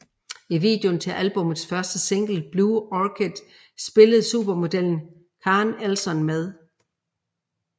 I videoen til albummets første single Blue Orchid spillede supermodellen Karen Elson med